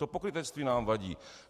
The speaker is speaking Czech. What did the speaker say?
To pokrytectví nám vadí.